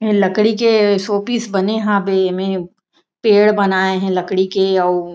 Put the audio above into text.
ये लकड़ी के सो पीस बने हवे पेड़ बनाए हे लकड़ी के अउ--